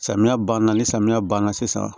Samiya banna ni samiya banna sisan